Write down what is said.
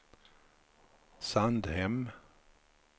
Sandhem